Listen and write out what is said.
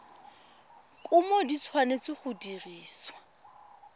kumo di tshwanetse go dirisiwa